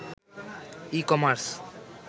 e-commerce